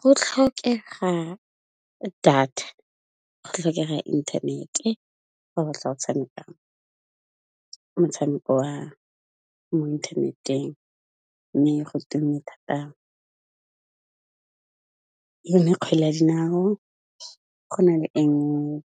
Go tlhokega data, go tlhokega ya inthanete fa go tla o tshameka motshameko wa mo inthaneteng, mme go tume thata yone kgwele ya dinao, go na tse